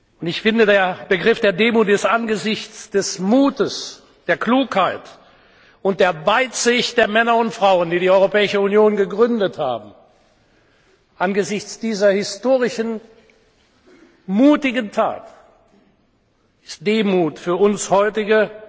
Und der Begriff Demut ist angesichts des Mutes, der Klugheit und der Weitsicht der Männer und Frauen, die die Europäische Union gegründet haben, angesichts dieser historischen, mutigen Tat für uns heutige